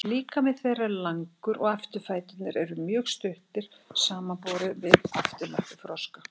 líkami þeirra er langur og afturfæturnir eru mjög stuttir samanborið við afturlappir froska